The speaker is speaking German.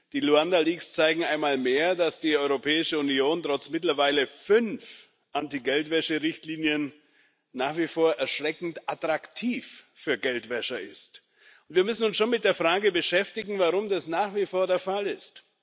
Die Luanda Leaks zeigen einmal mehr, dass die Europäische Union trotz mittlerweile fünf Anti Geldwäscherichtlinien nach wie vor erschreckend attraktiv für Geldwäscher ist. Wir müssen uns schon mit der Frage beschäftigen, warum das nach wie vor der Fall ist.